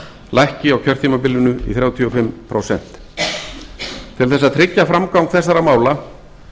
lækki á kjörtímabilinu í þrjátíu og fimm prósent til þess að tryggja framgang þessara mála